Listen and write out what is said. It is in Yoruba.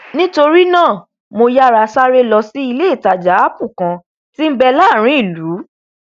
nítorínáà mo yára sáré lọ sí iléìtajà apple kan tí nbẹ láàrin ìlú